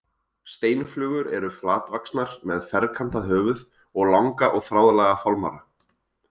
Steinflugur eru flatvaxnar með ferkantað höfuð og langa og þráðlaga fálmara.